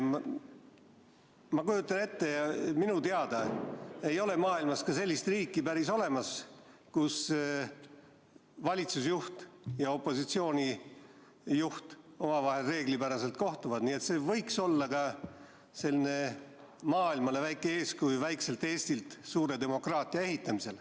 Ma kujutan ette – minu teada ei ole maailmas sellist riiki olemas, kus valitsusjuht ja opositsiooni juht omavahel reeglipäraselt kohtuvad –, et see võiks olla maailmale väike eeskuju, kuidas väike Eesti suurt demokraatiat ehitab.